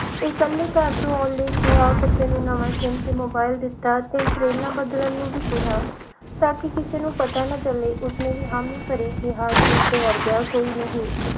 ਇਕੱਲੀ ਘਰ ਤੋਂ ਆਉਣ ਲਈ ਕਿਹਾ ਫਿਰ ਤੈਨੂੰ ਨਵਾ SIM ਤੇ mobile ਦਿੱਤਾ ਤਿੰਨ ਟਰੇਨਾਂ ਬਦਲਣ ਨੂੰ ਵੀ ਕਿਹਾ ਤਾਂ ਕਿ ਕਿਸੇ ਨੂੰ ਪਤਾ ਨਾ ਚੱਲੇ ਉਸਨੇ ਵੀ ਹਾਮੀ ਭਰੀ ਕਿਹਾ ਕਿ ਉਸਦੇ ਵਰਗਾ ਕੋਈ ਨਹੀਂ